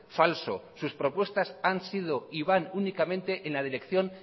falso sus propuestas han sido y van únicamente en la dirección